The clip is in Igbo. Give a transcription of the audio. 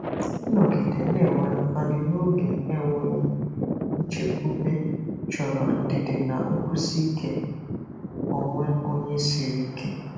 Ịnọgide na-enwe mkpali n’oge enweghị nchekwube chọrọ ndidi na nkwụsi ike onwe onye siri ike.